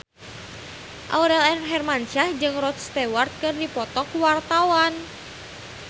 Aurel Hermansyah jeung Rod Stewart keur dipoto ku wartawan